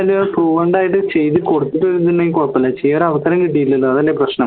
fluent ആയിട്ട് ചെയ്തു കൊടുത്തില്ലെങ്കി കുഴപ്പല്ല ചെയ്യാൻ അവസരം കിട്ടില്ലല്ലോ അതല്ലേ പ്രശ്നം